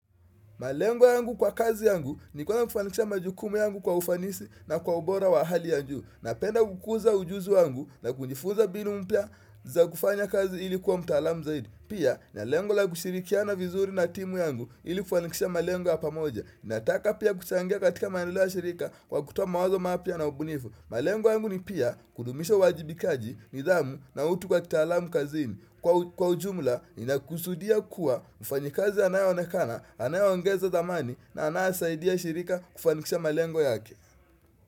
Malengo yangu kwa kazi yangu ni kuweza kufanikisha majukumu yangu kwa ufanisi na kwa ubora wa hali ya juu. Napenda kukuza ujuzi yangu na kunjifuza mbinu mpya za kufanya kazi ili kuwa mtaalamu zaidi. Pia na lengo la kushirikiana vizuri na timu yangu ili kufanikisha malengo ya pamoja. Nataka pia kuchangia katika maendeleo ya shirika kwa kutoa mawazo mapya na ubunifu. Malengo yangu ni pia kudumisha uwajibikaji, nidhamu na utu kwa kitaalamu kazini. Kwa Kwa ujumla ninakusudia kuwa mfanyikazi anayeonekana, anayeongeza thamani na anayesaidia shirika kufanikisha malengo yake.